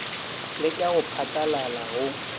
le ka go phatlalala go